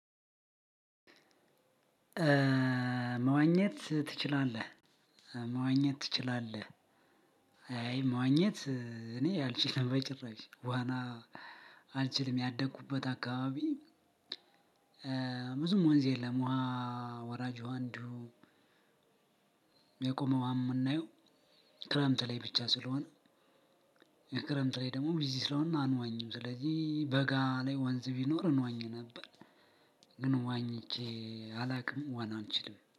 መዋኘት ትችላለህ መዋኘት ትችላለህ? አይ ማግኘት እኔ አልችልም በጭራሽ ዋና አልችልም ያደኩበት አካባቢ። ብዙም ወንዝ የለም ውሃ ወራጅ ውሃ አንዲሁ የቆመ ውሃ አምናየው ክረምት ላይ ብቻ ስለሆነ። ክረምት ላይ ደግሞ ቢዚ ስለሆን አንዋኝም ስለዚህ በጋ ላይ ወንዝ ቢኖር እንዋኝ ነበር። ግን ዋኝ አላውቅም ዋና አንችልም